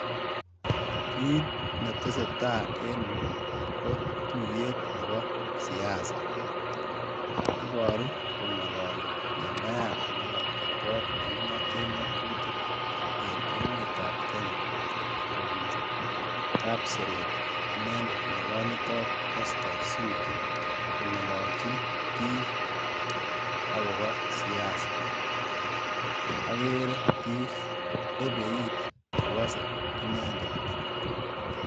kiit netesetai enyuu kotuiyet nebo siasa iboru kongololi mambayat nebo kot nekingoten ngotutik en emet ab kenya kobun kapseret inendet nekonyitot oskar sudi kongololjin biik akopo siasa, akere biik ebe iit kokose inendet.